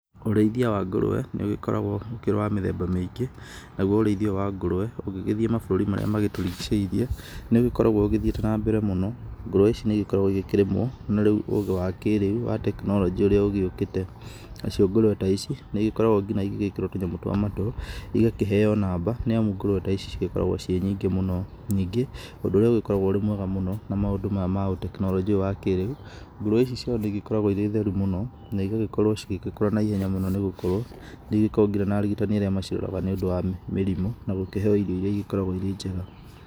Ũrĩithia wa ngũrũwe, nĩ ũgĩkoragwo ũkĩrĩ wa mĩthemba maingĩ, naguo ũrĩithia ũyũ wa ngũrũwe ũngĩgĩthiĩ mabũrũri marĩa magĩtũrigicĩirie, nĩ ũgĩkoragwo ũgĩthiĩte na mbere mũno, ngũruwe ici nĩ igĩkoragwo ikĩrĩmwo, no rĩu ũgĩ wa kĩrĩu wa tekinoronjĩ ũrĩa ũgĩũkĩte nacio ngũrũwe taici, nĩ igĩkoragwo nginya igĩkĩrwo tũnyamũ twa matũ, igakĩheyo namba, nĩamu ngũrũwe taici cigĩkoragwo ciĩ nyingĩ mũno, nyingĩ ũndũ ũrĩa ũgĩkoragwo wĩmwega mũno, na maũndũ maya ma ũtekinoronjĩ ũyũ wa kĩrĩu, ngũrũwe ici ciao nĩ igĩkoragwo ĩrĩ theru mũno, na igagĩkorwo igĩkũra na ihenya mũno, nĩ gũkorwo nĩ igĩkoragwo ngina na arigitani arĩa maciroraga, nĩ ũndũ wa mĩrimũ, na gũkĩheho irio iria igĩkoragwo irĩnjega.